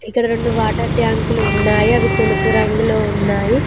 ఇక్కడ రెండు వాటర్ ట్యాంకులు ఉన్నాయి అవి తెలుపు రంగులో ఉన్నాయి.